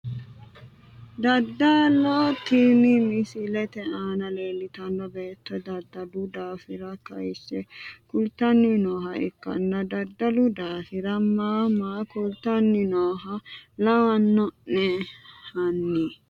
Dadalo tini misilete aana leeltano beeto dadalu daafira kayise kultani nooha ikkana dadalu daafira maa maa kultani nooha lawano`ne hani?